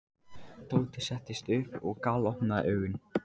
Tóti settist upp og galopnaði augun.